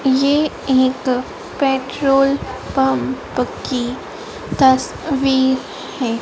ये एक petrol pump की तस्वीर है।